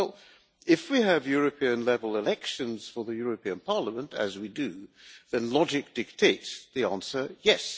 Well, if we have European-level elections for the European Parliament as we do then logic dictates the answer yes.